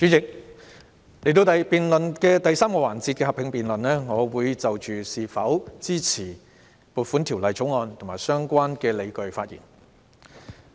主席，現在是財政預算案第3個環節的合併辯論，我會就是否支持《2020年撥款條例草案》及相關理據發言。